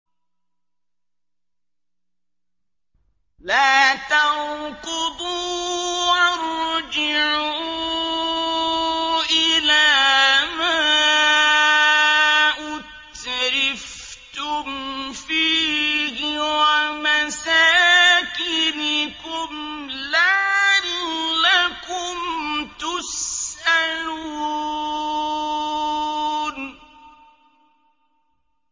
لَا تَرْكُضُوا وَارْجِعُوا إِلَىٰ مَا أُتْرِفْتُمْ فِيهِ وَمَسَاكِنِكُمْ لَعَلَّكُمْ تُسْأَلُونَ